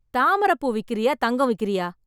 தாமரைப் பூ விக்கிறயா தங்கம் விக்கிறயா?